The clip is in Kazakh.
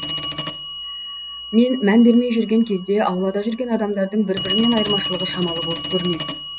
мен мән бермей жүрген кезде аулада жүрген адамдардың бір бірінен айырмашылығы шамалы болып көрінетін